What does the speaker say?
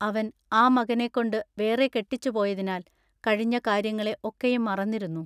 അവൻ ആ മകനെക്കൊണ്ടു വേറെ കെട്ടിച്ചുപോയതിനാൽ കഴിഞ്ഞ കാര്യങ്ങളൊക്കെ ഒക്കെയും മറന്നിരുന്നു.